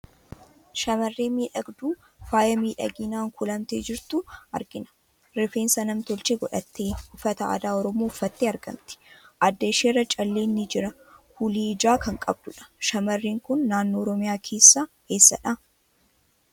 Shamarree miidhagduu faaya miidhaginaan kuulamtee jirtu argina. Rifeensa nam tolchee godhattee uffata aadaa Oromoo uffattee argamti. Adda ishii irraa calleen ni jira. Kuulii ijaa kan qabdudha. Shamarreen kun naannoo Oromiyaa keessaa eessadha?